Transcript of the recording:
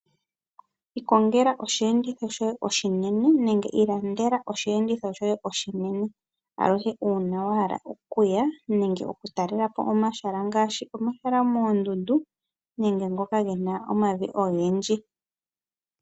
Ikongela oshiyenditho shoye oshinene nenge wu ilandele aluhe ngele wahala okuya nenge oku talelapo omahala ngaashi omahala gomoondundu nenge ngoka gena omavi ogendji